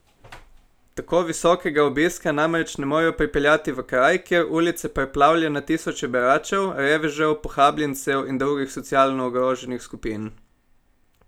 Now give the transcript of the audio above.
Tako visokega obiska namreč ne morejo pripeljati v kraj, kjer ulice preplavlja na tisoče beračev, revežev, pohabljencev in drugih socialno ogroženih skupin.